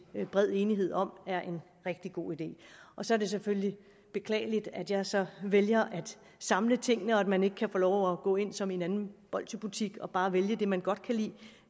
er bred enighed om er en rigtig god idé og så er det selvfølgelig beklageligt at jeg så vælger at samle tingene og at man ikke kan få lov at gå ind som i en anden bolsjebutik og bare vælge det man godt kan lide